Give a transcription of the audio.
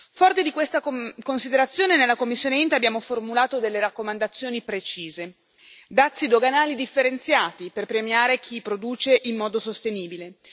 Forti di questa considerazione, nella commissione INTE abbiamo formulato delle raccomandazioni precise dazi doganali differenziati per premiare chi produce in modo sostenibile